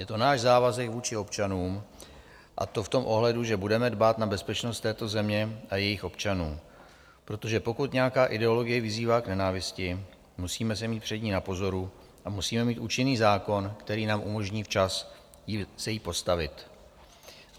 Je to náš závazek vůči občanům, a to v tom ohledu, že budeme dbát na bezpečnost této země a jejích občanů, protože pokud nějaká ideologie vyzývá k nenávisti, musíme se mít před ní na pozoru a musíme mít účinný zákon, který nám umožní včas se jí postavit.